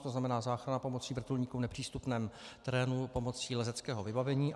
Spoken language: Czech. To znamená záchrany pomocí vrtulníku v nepřístupném terénu pomocí leteckého vybavení.